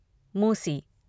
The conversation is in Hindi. मूसी